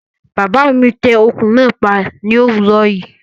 Bàbá mi tẹ ọkùn náà pa ní òwúrò yìí